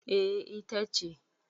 eh ita ce